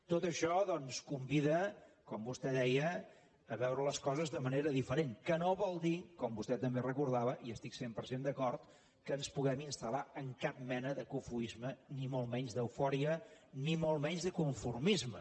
tot això doncs convida com vostè deia a veure les coses de manera diferents que no vol dir com vostè també recordava i hi estic cent per cent d’acord que ens puguem instalmolt menys d’eufòria ni molt menys de conformisme